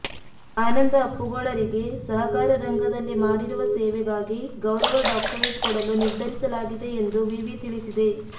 ಆನಂದಅಪ್ಪುಗೋಳರಿಗೆ ಸಹಕಾರ ರಂಗದಲ್ಲಿ ಮಾಡಿರುವ ಸೇವೆಗಾಗಿ ಗೌರವ ಡಾಕ್ಟರೇಟ್ ಕೊಡಲುನಿರ್ಧರಿಸಲಾಗಿದೆ ಎಂದು ವಿವಿ ತಿಳಿಸಿದೆ